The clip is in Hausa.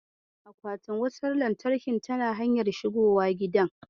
Akwatin wutar lantarkin yana hanyar shigowa gidan.